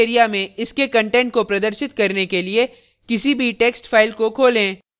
text area में इसके content को प्रदर्शित करने के लिए किसी भी text file को खोलें